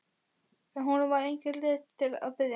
En honum var engin leið að biðja.